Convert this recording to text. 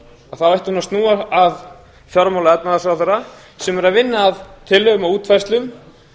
þá ætti hún að snúa að fjármála og efnahagsráðherra sem er að vinna að tillögum og útfærslum